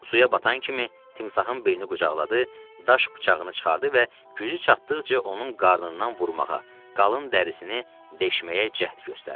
Suya batan kimi timsahın belini qucaqladı, daş bıçağını çıxardı və gücü çatdıqca onun qarnından vurmağa, qalın dərisini deşməyə cəhd göstərdi.